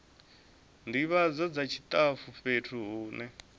ndivhadzo dza tshitafu fhethu hune